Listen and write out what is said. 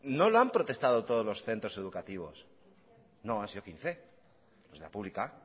no le han protestado todos los centros educativos no en la pública